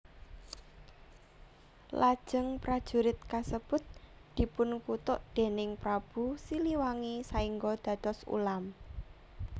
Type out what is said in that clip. Lajeng prajurit kasebut dipunkutuk déning Prabu Siliwangi saéngga dados ulam